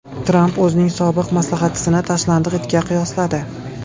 Tramp o‘zining sobiq maslahatchisini tashlandiq itga qiyosladi.